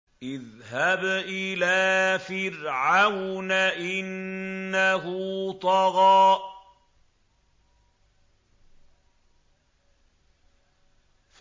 اذْهَبْ إِلَىٰ فِرْعَوْنَ إِنَّهُ طَغَىٰ